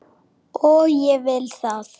Og vill það.